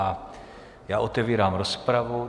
A já otevírám rozpravu.